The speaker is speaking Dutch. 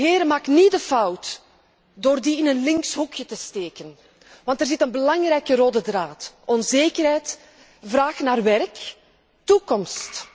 Heren, maak niet de fout door die in een links hoekje weg te zetten, want er zit een belangrijke rode draad onzekerheid, vraag naar werk, toekomst.